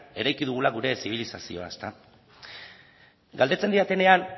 eraiki dugula gure zibilizazioa galdetzen didatenean